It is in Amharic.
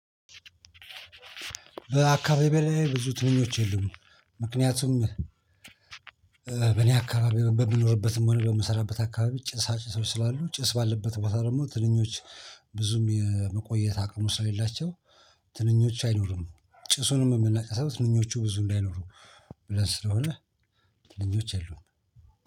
በአካባቢው ላይ ብዙ ትንኞች የሉም። ምክንያቱም እ በእኔ አካባቢ በምኖርበትም ሆነ በምሰራበት አካባቢ ጭሳጭሶች ስላሉ ጭስ ባለበት ቦታ ደግሞ ትንኞች ብዙም የመቆየት አቅሙ ስለሌላቸው ትንኞች አይኖሩም። ጭሱንም የምናጨሰው ትንኞቹ ብዙ እንዳይኖሩ ብለን ስለሆነ ትንኞች የሉም።